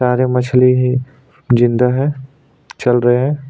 किनारे मछली है जिन्दा है चल रहा है।